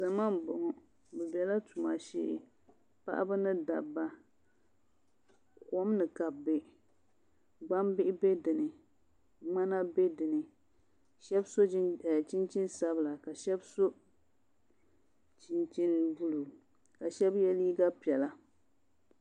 Zama n boŋo bi biɛla tuma shee paɣaba ni dabba kom ni ka bi bɛ gbambihi bɛ dinni ŋmana bɛ dinni shab so chinchin sabila ka shab so chinchin buluu ka shab yɛ liiga piɛla